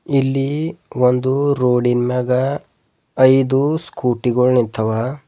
ಇಲ್ಲಿ ಒಂದು ರೋಡಿ ನ್ ಮ್ಯಾಗ ಐದು ಸ್ಕೂಟಿ ಗೊಳ್ ನಿಂತವ.